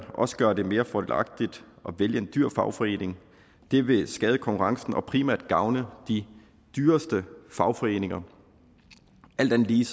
også gøre det mere fordelagtigt at vælge en dyr fagforening det vil skade konkurrencen og primært gavne de dyreste fagforeninger alt andet lige